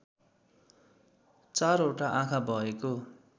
चारवटा आँखा भएको